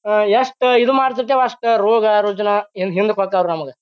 ಆಹ್ಹ್ ಎಷ್ಟು ಇದು ಮಾಡ್ತಿರ್ತೇವಿ ಅಷ್ಟು ಈ ರೋಗ-ರುಜಿನ ಎಲ್ಲ ಹಿಂದಕ್ ಹೊಕ್ಕರ್ ನಮಗ.